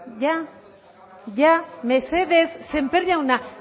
ya ya mesedez sémper jauna